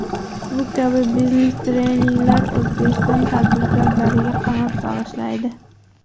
Bu kabi biznes treninglar O‘zbekiston tadbirkorlariga qanot bag‘ishlaydi.